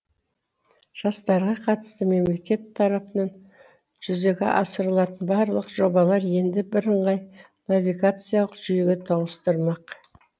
жастарға қатысты мемлекет тарапынан жүзеге асырылатын барлық жобалар енді бірыңғай навигациялық жүйеге тоғыстырылмақ